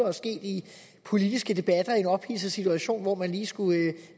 er sket i politiske debatter i en ophidset situation hvor man lige skulle